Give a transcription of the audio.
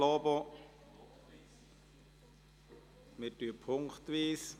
Also stimmen wir punktweise ab.